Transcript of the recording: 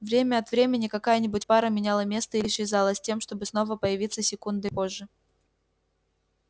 время от времени какая нибудь пара меняла место или исчезала с тем чтобы снова появиться секундой позже